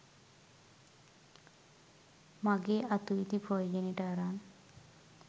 මගේ අතු ඉති ප්‍රයෝජනයට අරන්